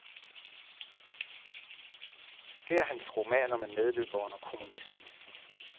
Det er hans roman om en medløber under kommunismen.